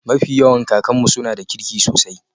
mafi yawan kakan'nu suna da kirki sosai